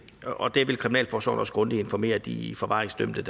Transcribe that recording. og det vil kriminalforsorgen også grundigt informere de forvaringsdømte